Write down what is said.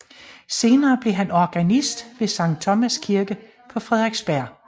Senere blev han organist ved Sankt Thomas Kirke på Frederiksberg